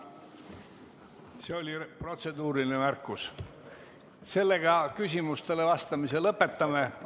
See oli protseduuriline märkus ja sellega küsimustele vastamise lõpetame.